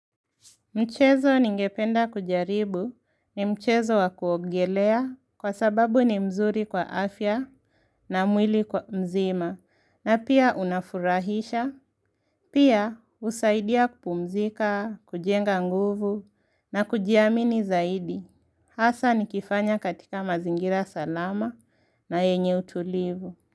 Michezo ningependa kujaribu ni mchezo wa kuogelea kwa sababu ni mzuri kwa afya na mwili kwa mzima, na pia unafurahisha. Pia husaidia kupumzika, kujenga nguvu na kujiamini zaidi. Hasa nikifanya katika mazingira salama na yenye utulivu.